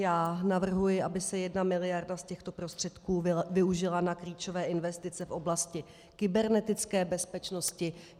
Já navrhuji, aby se jedna miliarda z těchto prostředků využila na klíčové investice v oblasti kybernetické bezpečnosti.